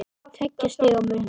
Tveggja stiga munur.